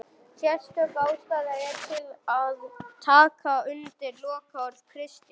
Sérstök ástæða er til að taka undir lokaorð Kristjáns